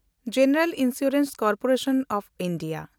General insurance corporation of India